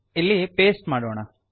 ಇಲ್ಲಿ ಪಾಸ್ಟೆ ಮಾಡೋಣ